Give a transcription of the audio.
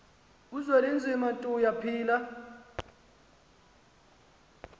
uzwelinzima tuya phila